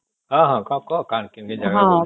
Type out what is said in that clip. ହଁ ହଁ କଣ କହ କେନ୍ତା ଜାଗା